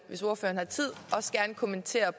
hvis ordføreren har tid også gerne kommentere